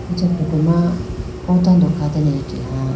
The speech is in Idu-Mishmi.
acha photo ma oo tando kha dane ake ha.